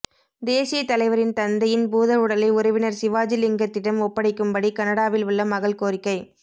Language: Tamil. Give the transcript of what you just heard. தேசியத்தலைவரின் தந்தையின் பூதவுடலை உறவினர் சிவாஜிலிங்கத்திடம் ஒப்படைக்கும்படி கனடாவில் உள்ள மகள் கோரிக்கை